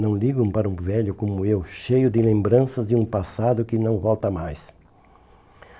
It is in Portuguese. Não ligam para um velho como eu, cheio de lembranças de um passado que não volta mais.